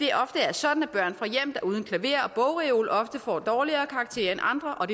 sådan at børn fra hjem der er uden klaver og bogreol ofte får dårligere karakterer end andre og